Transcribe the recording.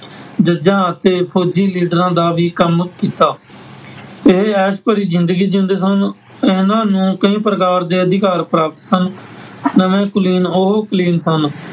ਜੱਜਾਂ ਅਤੇ ਫ਼ੌਜੀ ਲੀਡਰਾਂ ਦਾ ਵੀ ਕੰਮ ਕੀਤਾ । ਇਹ ਐਸ਼ ਭਰੀ ਜ਼ਿੰਦਗੀ ਜਿਊਂਦੇ ਸਨ । ਇਹਨਾਂ ਨੂੰ ਕਈ ਪ੍ਰਕਾਰ ਦੇ ਅਧਿਕਾਰ ਪ੍ਰਾਪਤ ਸਨ । ਨਵੇਂ ਕੁਲੀਨ ਉਹ ਕੁਲੀਨ ਸਨ